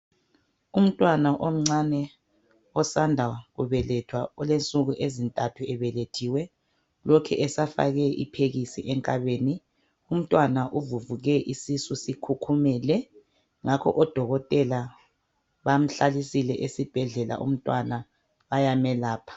umntwana omcane osanda kubelethwa olensuku ezintathu ebelethiwe lokhe esafakwe iphekisi enkabeni umntwana uvuvuke isisu sikhukhumele ngakho odokotele bamhlalisile esbhedlela umntwana bayamelapha